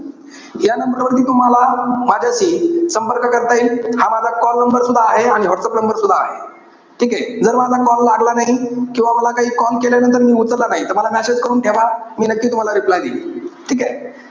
या number वरती तुम्हाला माझ्याशी संपर्क करता येईल. हा माझा call number सुद्धा आहे आणि व्हाट्सअप number सुद्धा आहे. ठीकेय? जर माझा call लागला नाही, किंवा मला काही call केल्यानंतर मी उचलला नाही. तर message करून ठेवा. मी नक्की तुम्हाला reply देईल.